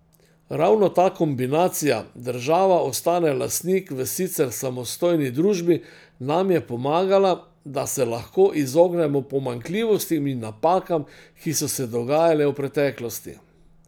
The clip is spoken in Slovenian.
Ravno ta kombinacija, država ostane lastnik v sicer samostojni družbi, nam je pomagala, da se lahko izognemo pomanjkljivostim in napakam, ki so se dogajale v preteklosti.